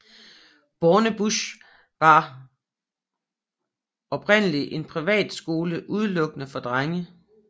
Bornebusch og var oprindelig en privatskole udelukkende for drenge